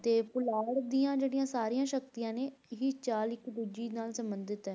ਤੇ ਪੁਲਾੜ ਦੀਆਂ ਜਿਹੜੀਆਂ ਸਾਰੀਆਂ ਸ਼ਕਤੀਆਂ ਨੇ ਹੀ ਚਾਲ ਇੱਕ ਦੂਜੀ ਨਾਲ ਸੰਬੰਧਿਤ ਹੈ।